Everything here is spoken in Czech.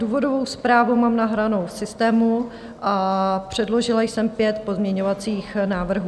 Důvodovou zprávu mám nahranou v systému a předložila jsem pět pozměňovacích návrhů.